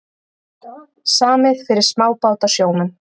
Samið fyrir smábátasjómenn